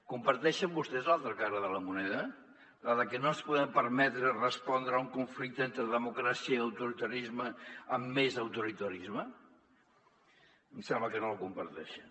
comparteixen vostès l’altra cara de la moneda la de que no ens podem permetre respondre a un conflicte entre democràcia i autori·tarisme amb més autoritarisme em sembla que no la comparteixen